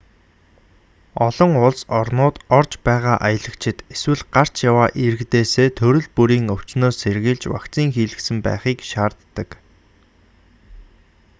олон улс орнууд орж байгаа аялагчид эсвэл гарч яваа иргэдээсээ төрөл бүрийн өвчнөөс сэргийлж вакцин хийлгэсэн байхыг шаарддаг